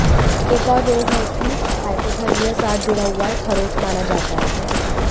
एक और रोग है कि हाइपोथर्मिया साथ जुड़ा हुआ है खरोंच माना जाता है